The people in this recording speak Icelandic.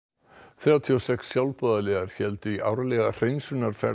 þrjátíu og sex sjálfboðaliðar héldu í árlega